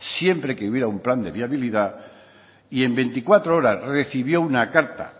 siempre que hubiera un plan de viabilidad y en veinticuatro horas recibió una carta